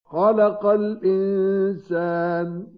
خَلَقَ الْإِنسَانَ